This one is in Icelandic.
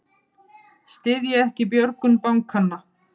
Styðja ekki björgun bankanna